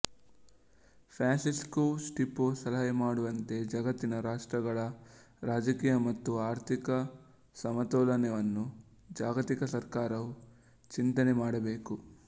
Francisco Stipo ಸಲಹೆ ಮಾಡುವಂತೆ ಜಗತ್ತಿನ ರಾಷ್ಟ್ರಗಳ ರಾಜಕೀಯ ಮತ್ತು ಆರ್ಥಿಕ ಸಮತೋಲನವನ್ನು ಜಾಗತಿಕ ಸರ್ಕಾರವು ಚಿಂತನೆ ಮಾಡಬೇಕು